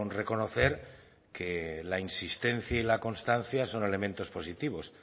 reconocer que la insistencia y la constancia son elementos positivos